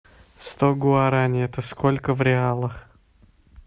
сто гуарани это сколько в реалах